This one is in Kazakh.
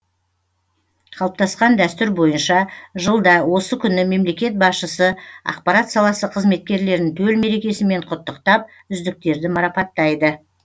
қалыптасқан дәстүр бойынша жылда осы күні мемлекет басшысы ақпарат саласы қызметкерлерін төл мерекесімен құттықтап үздіктерді марапаттайды